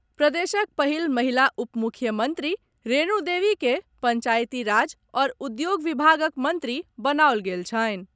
प्रदेशक पहिल महिला उपमुख्यमंत्री रेणु देवी के पंचायती राज आओर उद्योग विभागक मंत्री बनाओल गेल छनि।